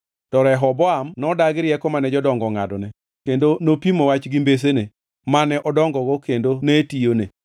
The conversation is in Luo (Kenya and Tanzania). To Rehoboam nodagi rieko mane jodongo ongʼadone kendo nopimo wach gi mbesene mane odongogo kendo ne tiyone.